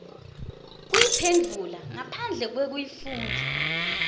kuyiphendvula ngaphandle kwekufundza